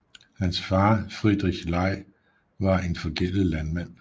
Hans far Friedrich Ley var en forgældet landmand